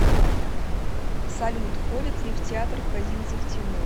салют ходит ли в театр козинцев тимур